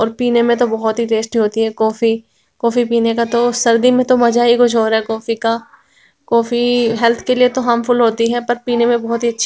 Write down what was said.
और पीने में तो बहुत ही टेस्टी होती है कॉफ़ी कॉफ़ी पीने का तो सर्दी में तो मज़ा ही कुछ और है कॉफ़ी का कॉफ़ी हेल्थ के लिए तो हार्मफुल होती है पर पीने में बहुत ही अच्छी--